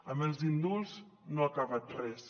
amb els indults no ha acabat res